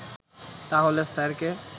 তাহলে স্যারকে